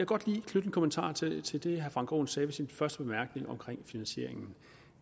godt lige knytte en kommentar til til det herre frank aaen sagde i sin første bemærkning om finansieringen